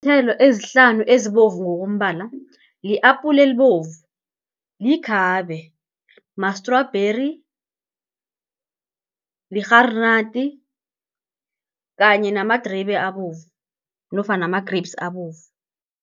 Iinthelo ezihlanu ezibovu ngokombala, li-apula elibovu, likhabe, mastrubheri, lirharinati kanye namadribe abovu, nofana ama-grapes abovu.